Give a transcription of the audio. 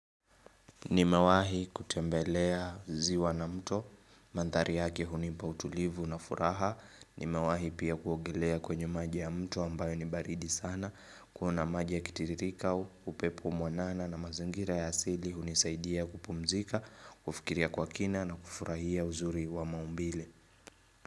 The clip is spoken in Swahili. Nimewahi kutembelea ziwa na mto, mandhari yake hunipa utulivu na furaha, nimewahi pia kuogelea kwenye maji ya mto ambayo ni baridi sana, kuona maji yakitiririka, upepo mwanana na mazingira ya asili hunisaidia kupumzika, kufikiria kwa kina na kufurahia uzuri wa maumbile.